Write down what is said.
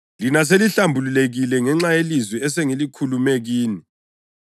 Lina selihlambulukile ngenxa yelizwi esengilikhulume kini.